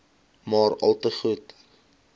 maar alte goed